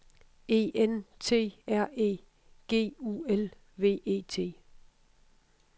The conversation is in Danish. E N T R E G U L V E T